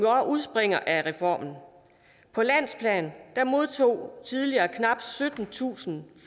udspringer af reformen på landsplan modtog tidligere knap syttentusind